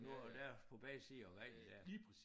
Og nu og der på begge sider af vejen der